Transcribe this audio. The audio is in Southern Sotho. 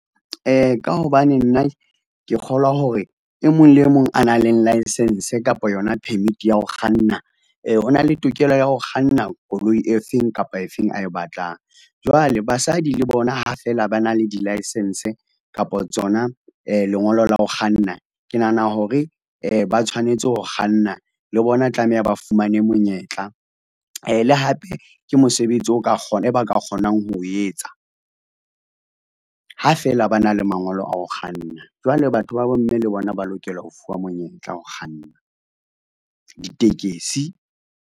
Ka hobane nna ke kgolwa hore e mong le e mong a nang le license kapa yona permit ya ho kganna o na le tokelo ya ho kganna koloi e feng kapa e feng ae batlang jwale basadi le bona ha feela ba na le di licence kapa tsona lengolo la ho kganna. Ke nahana hore ba tshwanetse ho kganna le bona tlameha ba fumane monyetla le hape ke mosebetsi o ka kgona, e ba ka kgonang ho o etsa. Ha feela ba na le mangolo a ho kganna jwale batho ba bomme le bona ba lokela ho fuwa monyetla ho kganna ditekesi.